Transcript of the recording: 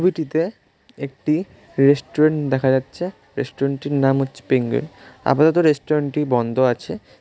ছবিটিতে একটি রেস্টুরেন্ট দেখা যাচ্ছে রেস্টুরেন্টে এর নাম হচ্ছে পেংগুইন আপাতত রেস্টুরেন্ট টি বন্ধ আছে।